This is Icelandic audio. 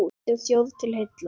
Landi og þjóð til heilla!